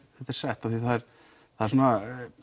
sett af því að það er svona